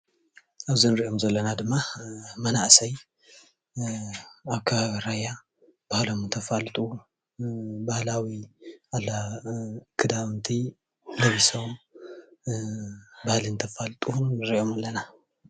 ኣብዞም እንሪኦም ዘለና ድማ መናእሰይ ኣብ ከባቢ ራያ ባህሎም እንተፋልጡ ባህላዊ ክዳውንቲ ለቢሶም ባህሊ እንተፋልጡ ንሪኦም ኣለና፡፡